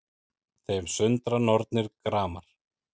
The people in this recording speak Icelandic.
Þeim sundra nornir gramar